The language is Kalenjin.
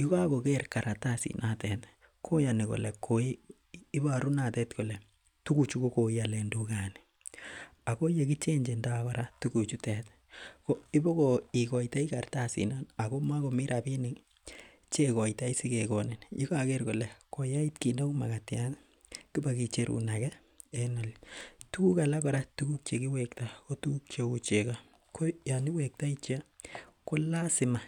yugakoker kartasit notet ih koyanib kole , ibaru notet kole tuguchutet koialen tugani. Akoi ye kichechento tuguchutet ih ko ibokoikotai kartasit non agomagomi rabinik chekoitai sigegonin , yegager kole koyait kit neuu magatiat ih kibakicherun ake en . Tuguk alak kora chegiwekta ko tuguk cheuu chego. Yoon iwektai chego ko lazima